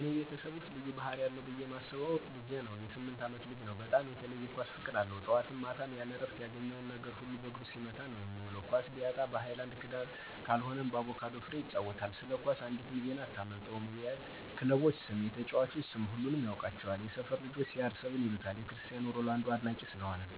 በእኔ ቤተሰብ ውስጥ ልዩ ባህሪ አለው ብየ ማስበው ልጄ ነው.የ 8አመት ልጅ ነው, በጣም የተለየ የ ኳስ ፍቅር አለው. ጠዋት ማታም ምንም እረፍት የለውም ያገኘውን ነገር በእግሩ ሲመታ ነዉ የሚዉል. ኳስ ቢያጣ በ ሀይላንድ (በክዳኑ)ካልሆነም በአቩካዶ ፍሬ ይጫወታል። ስለ ኳስ አንዲትም ዜና አታመልጠውም .የ ክለቦች ስም፣ የተጨዋቾች ስም ሁሉንም ያውቃቸዋል። የ ሰፈር ልጆች CR7 ይሉታል የ ክርስቲያን ሮላንዶ አድናቂ ስለሆነ።